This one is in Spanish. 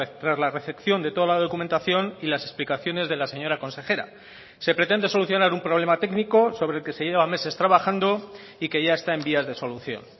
tras la recepción de toda la documentación y las explicaciones de la señora consejera se pretende solucionar un problema técnico sobre el que se lleva meses trabajando y que ya está en vías de solución